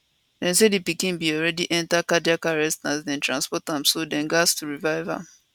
dem say di pikin bin already enta cardiac arrest as dem transport am so dem gatz to revive am